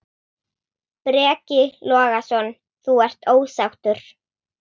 Breki Logason: Þú ert ósáttur?